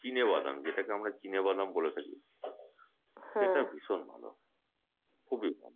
চিনে বাদাম যেটাকে আমরা চিনে বাদাম বলে থাকি খেতে ভীষণ ভালো হয় খুবই ভালো